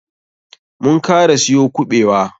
Mun kara siyo kuɓewa.